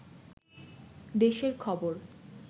দেশের খবর